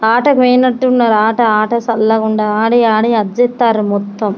ఆటకు పోయినట్టున్నారు ఆట ఆట చల్లగా ఉండాలి ఆడి ఆడి ఆడి చేస్తారు మొత్తం.